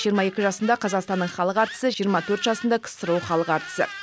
жиырма екі жасында қазақстанның халық әртісі жиырма төрт жасында ксро халық әртісі